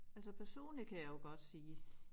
Altså personligt kan jeg jo godt sige